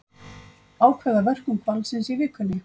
Ákveða verkun hvalsins í vikunni